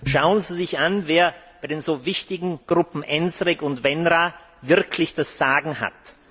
Schauen Sie sich an, wer bei den so wichtigen Gruppen ENSREG und WENRA wirklich das Sagen hat.